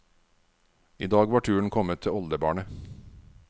I dag var turen kommet til oldebarnet.